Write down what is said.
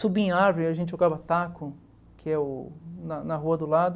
Subir em árvore, a gente jogava taco, que é o na na rua do lado.